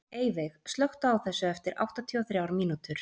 Eyveig, slökktu á þessu eftir áttatíu og þrjár mínútur.